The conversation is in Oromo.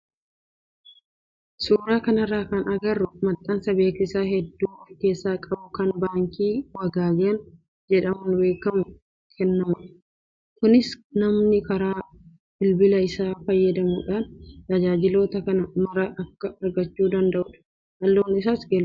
Suuraa kanarraa kan agarru maxxansa beeksisa hedduu of keessaa qabu kan baankii Wagaagan jedhamuun beekamuun kennamudha. Kunis namni karaa bilbila isaa fayyadamuudhaan tajaajiloota kana maraa akka argachuu danda'udha. Halluun isaas keeloodha.